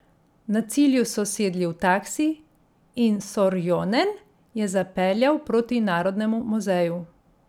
Na cilju so sedli v taksi in Sorjonen je zapeljal proti narodnemu muzeju.